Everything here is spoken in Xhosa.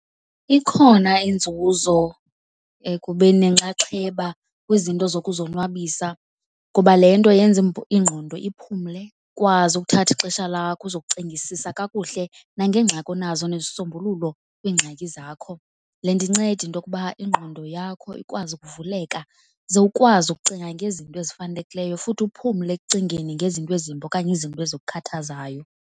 Ikhona inzuzo ekubeni nenxaxheba kwizinto zokuzonwabisa ngoba le nto yenza ingqondo iphumle, ukwazi ukuthatha ixesha lakho uzocingisisa kakuhle nangeengxaki onazo nezisombululo kwiingxaki zakho. Le nto incede into yokuba ingqondo yakho ikwazi ukuvuleka ze ukwazi ukucinga ngezinto ezifanelekileyo futhi uphumle ekucingeni ngezinto ezimbi okanye izinto ezikukhathazayo.